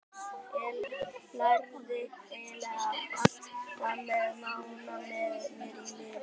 Ég lærði eiginlega allt þar með Mána með mér í liði.